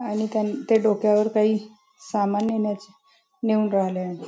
आणि त्यांन ते डोक्यावर काही सामान नेण्याचे नेऊन राहील आहे.